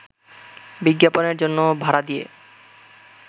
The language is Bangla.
বিজ্ঞাপনের জন্য ভাড়া দিয়ে